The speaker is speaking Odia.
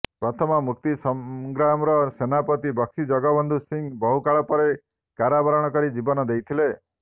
ପ୍ରଥମ ମୁକ୍ତି ସଂଗ୍ରାମର ସେନାପତି ବକ୍ସି ଜଗବନ୍ଧୁ ସିଂହ ବହୁକାଳ ପରେ କାରାବରଣ କରି ଜୀବନ ଦେଇଥିଲେ